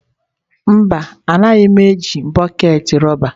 Mba, anaghị m eji bọket rọba.